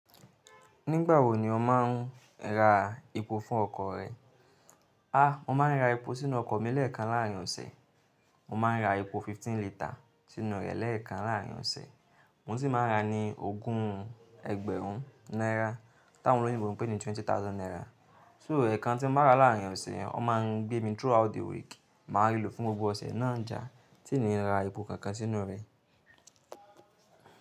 Nígbà wo ni o máa ń ra epo fún ọkọ̀ rẹ? A! Mo máa ń ra epo sínú ọkọ̀ mi lẹ́ẹ̀kan láárín ọ̀sẹ̀. Mo máa ń ra epo fifteen litre sínú rẹ̀ lẹ́ẹ̀kan láárín ọ̀sẹ̀. Mo sì máa ń ra ni ogún ẹgbẹ̀rún náírà, tí àwọn olóyìnbó ń pè ní twenty thousand náírà. So ẹ̀ẹ̀kan tí n bá rà láárín ọ̀sẹ̀, ó máa ń gbé mi throughout the week, màá rí lò fún gbogbo ọ̀sẹ̀ náà jàá, tí n nii rà epo kankan sínú rẹ̀.